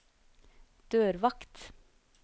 dørvakt